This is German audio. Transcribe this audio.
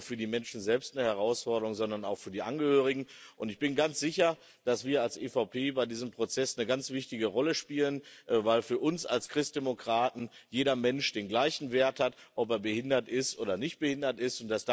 Denn es ist nicht nur für die Menschen selbst eine Herausforderung, sondern auch für die Angehörigen. Ich bin ganz sicher, dass wir als EVP bei diesem Prozess eine ganz wichtige Rolle spielen, weil für uns als Christdemokraten jeder Mensch den gleichen Wert hat, ob er behindert ist oder nicht behindert ist.